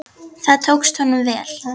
Það tókst honum vel.